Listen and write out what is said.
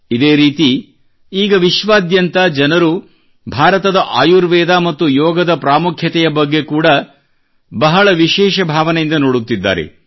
ಇದೇ ರೀತಿ ಈಗ ವಿಶ್ವಾದ್ಯಂತ ಜನರು ಭಾರತದ ಆಯುರ್ವೇದ ಮತ್ತು ಯೋಗದ ಪ್ರಾಮುಖ್ಯತೆಯ ಬಗ್ಗೆ ಕೂಡಾ ಬಹಳ ವಿಶೇಷ ಭಾವನೆಯಿಂದ ನೋಡುತ್ತಿದ್ದಾರೆ